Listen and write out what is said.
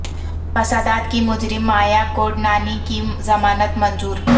فسادات کی مجر م مایا کوڈنانی کی ضمانت منظور